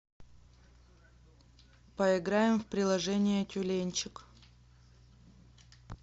поиграем в приложение тюленьчик